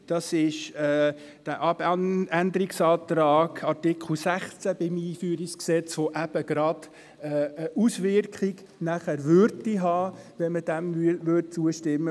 Es ist der Abänderungsantrag zu Artikel 16 EG AIG und AsylG, der eben gerade eine Auswirkung auf Artikel 38 SAFG hätte, würde man ihm zustimmen.